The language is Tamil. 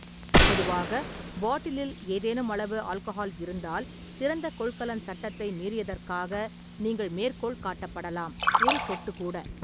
பொதுவாக, பாட்டிலில் ஏதேனும் அளவு ஆல்கஹால் இருந்தால் திறந்த கொள்கலன் சட்டத்தை மீறியதற்காக நீங்கள் மேற்கோள் காட்டப்படலாம் - ஒரு சொட்டு கூட.